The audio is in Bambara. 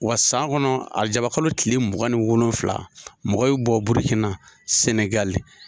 Wa san kɔnɔ arajabakolo tile mugan ni wolonfila, mɔgɔ bɛ bɔ Burikina, Sɛnɛgali